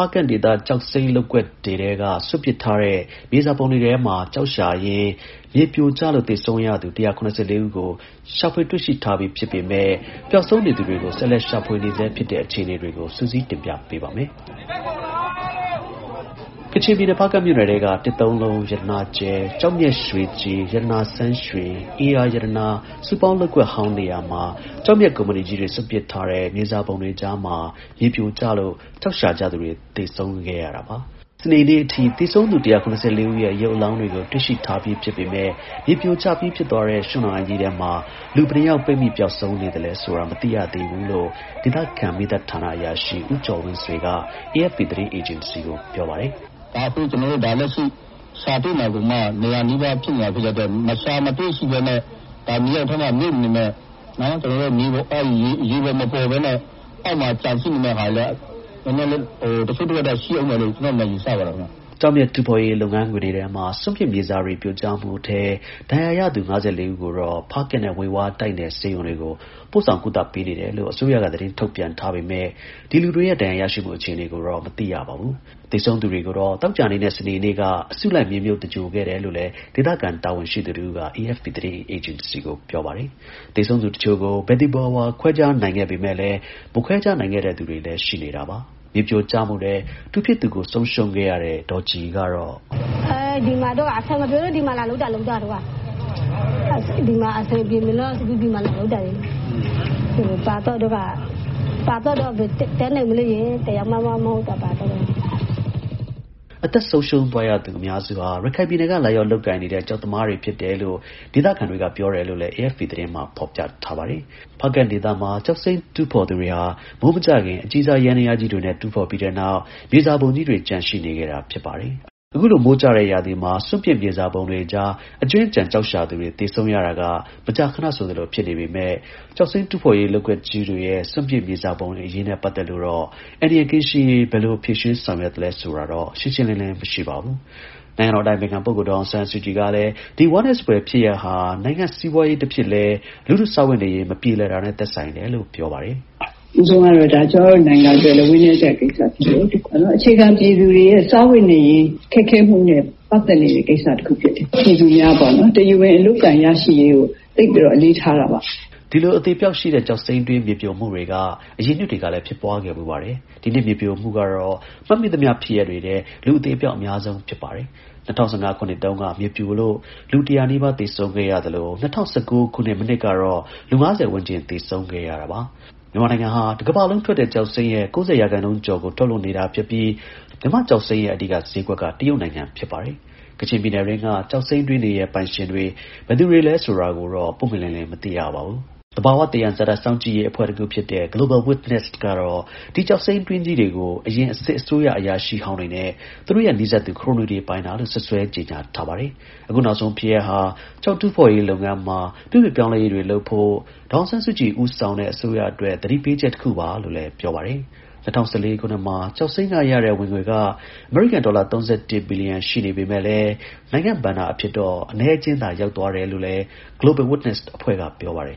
ားကန့် ကျောက်စိမ်းလုပ်ကွက်တွေက စွန့်ပစ်ထားတဲ့ မြေစာပုံတွေထဲမှာ ကျောက်ရှာရင်း မြေပြိုကျလို့ သေဆုံးရသူ ၁၇၄ ဦးကို ရှာဖွေတွေ့ရှိထားပြီး ဖြစ်ပေမယ့် ပျောက်ဆုံးနေသူတွေကို ဆက်လက်ရှာဖွေနေဆဲ ဖြစ်ပါတယ်။ ဒီအကြောင်းအပြည့်အစုံကို ကိုရဲမင်းထွန်းက စုစည်း တင်ပြပေးထားပါတယ်။ ကချင်ပြည်နယ် ဖားကန့်မြို့နယ် တစ်သုံးလုံး၊ ရတနာကြယ်၊ ကျောက်မျက်ရွှေကြည်၊ ရတနာဆန်းရွှင်၊ ဧရာရတနာ စုပေါင်းလုပ်ကွက်ဟောင်း နေရာတွေမှာ ကျောက်မျက်ကုမ္ပဏီကြီးတွေ ရှာဖွေပြီးနောက် စွန့်ပစ်ထားတဲ့ မြေစာပုံတွေကြား ကျောက်ရှာကြသူတွေ မြေပြိုကျလို့ သေဆုံးရတာပါ။ စနေနေ့အထိ သေဆုံးသူ ၁၇၄ ဦးရဲ့ ရုပ်အလောင်းတွေ တွေ့ရှိထားပြီး ဖြစ်ပေမယ့် မြေပြိုကျပြီး ဖြစ်သွားတဲ့ ရွှံ့နွံအိုင်ကြီးထဲမှာ လူဘယ်နှစ်ယောက် ပိတ်မိ ပျောက်ဆုံးနေလဲဆိုတာ မသိရဘူးလို့ ဒေသခံ မီးသတ်ဌာနအရာရှိ ဦးကျော်ဝင်းဆွေက AFP သတင်းအေဂျင်စီကို ပြောပါတယ်။ “ဒါ အခုရှာတွေ့နေတာတောင်မှ ၂၀၀ နီးပါး ရှိနေတဲ့အတွက် ရှာမတွေ့ဘဲ မြေအောက်မှာ မြုပ်နေနိုင်သေးတဲ့ ရေပေါ်မပေါ်ဘဲနဲ့ အောက်မှာ ကျန်ရှိနေမှာလည်း တချို့တဝက်တော့ ရှိဦးမယ်လို့ ကျနော့်အနေနဲ့ ယူဆပါတယ်။” ကျောက်မျက်တူးဖော်ရေး လုပ်ငန်းခွင်တွေရဲ့ စွန့်ပစ်မြေစာပုံတွေ ပြိုကျမှုအတွင်း ဒဏ်ရာရသူ ၅၄ ဦးကိုတော့ ဖားကန့်နဲ့ ဝှေဝါး တိုက်နယ်ဆေးရုံတွေကို ပို့ဆောင် ကုသပေးနေတယ်လို့ အစိုးရက သတင်းထုတ်ပြန်ထားပေမယ့် ဒီလူတွေရဲ့ ဒဏ်ရာရရှိမှု အခြေအနေတွေကိုတော့ မသိရပါဘူး။ သေဆုံးသူတွေကိုတော့ သောကြာနဲ့ စနေနေ့က အစုလိုက် မြေမြှုပ်သင်္ဂြိုဟ်ခဲ့တယ်လို့လည်း ဒေသခံ တာဝန်ရှိသူတဦးက AFP သတင်းအေဂျင်စီကို ပြောပါတယ်။ သေဆုံးသူတချို့ကို ဘယ်သူဘယ်ဝါ ခွဲခြားနိုင်ခဲ့ပေမယ့်လည်း မခွဲခြားနိုင်ခဲ့သူတွေလည်း ရှိပါတယ်။ မြေပြိုကျမှုအတွင်း တူဖြစ်သူကို ဆုံးရှုံးခဲ့ရတဲ့ ဒေါ်ကြည်က အခုလိုပြောပါတယ်။ “အဆင်မပြေလို့ ဒီမှာလာလုပ်တာ။ ပါသွားတော့လည်း ဘယ်တတ်နိုင်မလဲ။ သေတာလည်း သူတယောက်တည်းမှ မဟုတ်တာဘဲ။” အသက်ဆုံးရှုံးသွားသူ အများစုဟာ ရခိုင်ပြည်နယ်က လာရောက်လုပ်ကိုင်နေတဲ့ ကျောက်သမားတွေ ဖြစ်တယ်လို့ ဒေသခံတွေက ပြောတယ်လို့ AFP သတင်းက ဖော်ပြပါတယ်။ ဖားကန့်ဒေသမှာ ကျောက်စိမ်းတူးဖော်သူတွေက မိုးမကျခင်မှာ အကြီးစား ယန္တရားကြီးတွေနဲ့ တူးဖော်ပြီးနောက် မြေစာပုံကြီးတွေ ကျန်ရှိခဲ့တာဖြစ်ပြီး အခုလို မိုးကျတဲ့ရာသီမှာ စွန့်ပစ်မြေစာပုံတွေကြား အကြွင်းအကျန် ကျောက်ရှာသူတွေ သေဆုံးရတာက မကြာခနဆိုသလို ဖြစ်နေတာပါ။ ကျောက်စိမ်းတူးဖော်ရေး လုပ်ကွက်ကြီးတွေရဲ့ စွန့်ပစ်မြေစာပုံတွေ အရေးနဲ့ ပတ်သက်လို့ အန္တရာယ် ကင်းရှင်းရေးအတွက် ဘယ်လို ဖြေရှင်းဆောင်ရွက်သလဲ ဆိုတာကတော့ ရှင်းရှင်းလင်းလင်း မရှိပါဘူး။ "ပထမဆုံးကတော့ ကျမတို့နိုင်ငံအတွက် ဝမ်းနည်းစရာကိစ္စဖြစ်တယ်။ ဒါ အခြေခံပြည်သူတွေရဲ့ စားဝတ်နေရေး ခက်ခဲမှုနဲ့ ပတ်သက်နေတဲ့ ကိစ္စတခု ဖြစ်တယ်။ ပြည်သူများပေါ့နော်... တရားဝင် အလုပ်အကိုင် ရရှိရေးကို သိပ်ပြီးတော့ အလေးထားတာပါ။" ဒီလို အသေအပျောက်ရှိတဲ့ ကျောက်စိမ်းတွင်း မြေပြိုမှုတွေ အရင်နှစ်တွေကလည်း ဖြစ်ပွားခဲ့ဖူးပြီး ဒီနှစ် မြေပြိုမှုကတော့ မှတ်မိသမျှ ဖြစ်ရပ်တွေထဲ လူအသေအပျောက် အများဆုံးဖြစ်ပါတယ်။ ၂၀၁၅ ခုနှစ်တုန်းက မြေပြိုလို့ လူ ၁၀၀ နီးပါး သေဆုံးခဲ့ရသလို ၂၀၁၉ ခုနှစ် မနှစ်ကတော့ လူ ၅၀ ဝန်းကျင် သေဆုံးခဲ့ရတာပါ။ မြန်မာနိုင်ငံဟာ တကမ္ဘာလုံးထွက်တဲ့ ကျောက်စိမ်းရဲ့ ၉၀ ရာခိုင်နှုန်းကျော်ကို ထုတ်လုပ်နေတာဖြစ်ပြီး မြန်မာ့ကျောက်စိမ်းရဲ့ အဓိကဈေးကွက်က တရုတ်နိုင်ငံ ဖြစ်ပါတယ်။ ကချင်ပြည်နယ်တွင်းက ကျောက်စိမ်းတွင်းတွေရဲ့ ပိုင်ရှင်တွေ ဘယ်သူတွေလဲ ဆိုတာကိုတော့ ပွင့်ပွင့်လင်းလင်း မသိရပါဘူး။ သဘာဝ သယံဇာတ စောင့်ကြည့်ရေးအဖွဲ့တခုဖြစ်တဲ့ Global Witness ကတော့ ဒီ ကျောက်စိမ်းတွင်းကြီးတွေကို အရင် စစ်အစိုးရ အရာရှိဟောင်းတွေနဲ့ သူတို့နဲ့ နီးစပ်သူ ခရိုနီတွေ ပိုင်တာလို့ စွပ်စွဲ ကြေညာထားပါတယ်။ အခုနောက်ဆုံး ဖြစ်ရပ်ဟာ ကျောက်တူးဖော်ရေးလုပ်ငန်းမှာ ပြုပြင်ပြောင်းလဲရေးတွေလုပ်ဖို့ ဒေါ်အောင်ဆန်းစုကြည် ဦးဆောင်တဲ့ အစိုးရအတွက် သတိပေးချက်တခုပါလို့ ပြောပါတယ်။ ၂၀၁၄ ခုနှစ်မှာ ကျောက်စိမ်းကရတဲ့ ဝင်ငွေ အမေရိကန်ဒေါ်လာ ၃၁ ဘီလီယံ ရှိပေမယ့် နိုင်ငံဘဏ္ဍာအဖြစ်တော့ အနည်းအကျဉ်းသာ ရောက်သွားတယ်လို့လည်း အဲဒီ Global Witness အဖွဲ့က ပြောပါတယ်